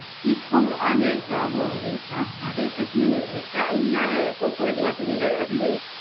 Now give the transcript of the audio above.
இப்பவும் அதே problem இருக்கா? அதே பிரச்சனைகள் இருக்கா? இல்ல போக்குவரத்து வசதிகள் வந்து